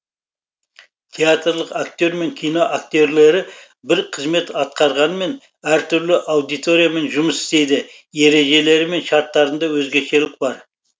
театрлық акте р мен кино акте рлері бір қызмет атқарғанмен әртүрлі аудиториямен жұмыс істейді ережелері мен шарттарында өзгешелік бар